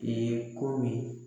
komin